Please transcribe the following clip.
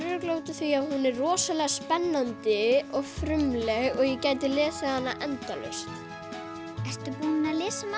er örugglega af því að hún er rosalega spennandi og frumleg og ég gæti lesið hana endalaust ertu búin að lesa hana